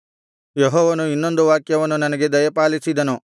ಯೆಹೋವನು ಇನ್ನೊಂದು ವಾಕ್ಯವನ್ನು ನನಗೆ ದಯಪಾಲಿಸಿದನು